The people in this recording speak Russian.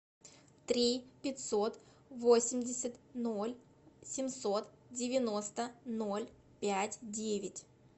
три пятьсот восемьдесят ноль семьсот девяносто ноль пять девять